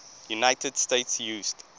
united states used